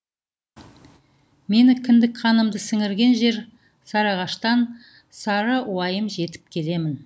менің кіндік қанымды сіңірген жер сағыныштан сарыуайым жеп келемін